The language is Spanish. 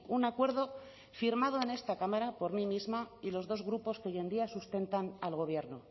un acuerdo firmado en esta cámara por mí misma y los dos grupos que hoy en día sustentan al gobierno